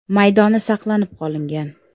maydoni saqlanib qolingan.